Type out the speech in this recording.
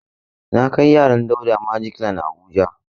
Na kai yaran Dauda Magic land a Abuja.